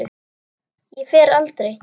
Ég fer aldrei.